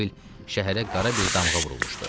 Elə bil şəhərə qara bir damğa vurulmuşdu.